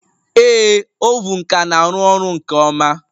Ee, oven ka na-arụ ọrụ nke ọma